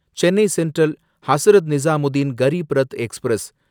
Chennai Central Hazrat Nizamuddin Garib Rath express